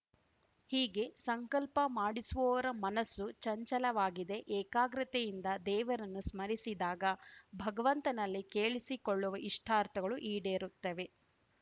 ಹೀಗೆ ಸಂಕಲ್ಪ ಮಾಡಿಸುವವರ ಮನಸ್ಸು ಚಂಚಲವಾಗಿದೆ ಏಕಾಗ್ರತೆಯಿಂದ ದೇವರನ್ನು ಸ್ಮರಿಸಿದಾಗ ಭಗವಂತನಲ್ಲಿ ಕೇಳಿಸಿಕೊಳ್ಳುವ ಇಷ್ಟಾರ್ಥಗಳು ಈಡೇರುತ್ತವೆ